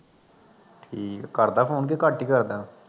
ਠੀਕ ਆ ਕਰਦਾ phone ਕਿ ਘੱਟ ਈ ਕਰਦਾ